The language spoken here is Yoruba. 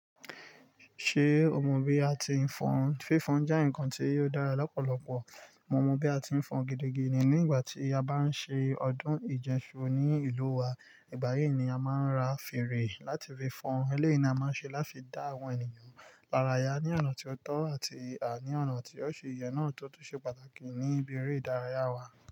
Ṣé o mọ bí a ti ń fọn? Fífonn jẹ́ ǹkan tí ò dára lọ́pọ̀lọpọ̀. Mo mọ bí a ti ń fọn gidigidi. Ní ìgbà tí a bá ń ṣe ọdún ìjẹ́ṣu ní ìlú wa, ìgbà yí ni a máa ń ra fèrè láti fi fọn. Eleyi ni a máa n ṣe láti dá àwọn ènìyàn lára yá ní ọ̀nà tó tọ́ àti àní ọ̀nà tí o ṣi yè náà tótó ṣe pàtàkì níbi eré ìdárayá wa.